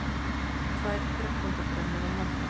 Tvær þrettándabrennur á morgun